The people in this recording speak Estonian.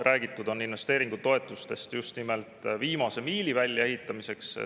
Räägitud on investeeringutoetustest just nimelt viimase miili väljaehitamiseks.